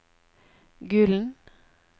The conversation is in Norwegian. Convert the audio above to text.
Gulen